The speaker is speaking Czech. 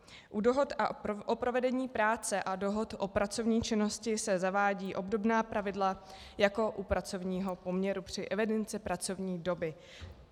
U dohod o provedení práce a dohod o pracovní činnosti se zavádějí obdobná pravidla jako u pracovního poměru při evidenci pracovní doby.